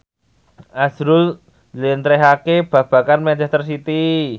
azrul njlentrehake babagan manchester city